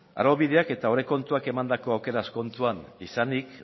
araubideak eta aurrekontuak emandako aukeraz kontuan izanik